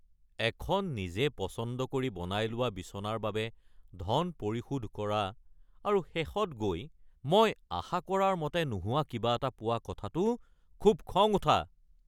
এখন নিজে পচন্দ কৰি বনাই লোৱা বিছনাৰ বাবে ধন পৰিশোধ কৰা আৰু শেষত গৈ মই আশা কৰাৰ মতে নোহোৱা কিবা এটা পোৱা কথাটো খুব খং উঠা।